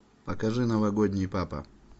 покажи новогодний папа